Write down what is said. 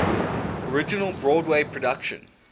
original broadway production